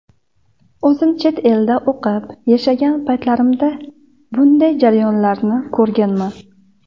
O‘zim chet elda o‘qib, yashagan paytlarimda bunday jarayonlarni ko‘rganman.